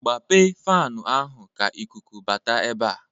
Gbape fanụ ahụ ka ikuku bata ebe a!